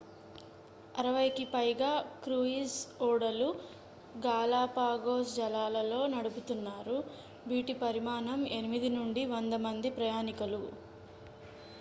60 కి పైగా క్రూయిజ్ ఓడలు గాలాపాగోస్ జలాలలో నడుపుతున్నారు వీటి పరిమాణం 8 నుండి 100 మంది ప్రయాణికులు